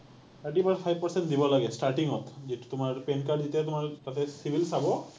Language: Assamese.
thirty five percent দিব লাগে starting ত, যিটো তোমাৰ PAN card যেতিয়া তোমাৰ তাতে CIBIL চাব,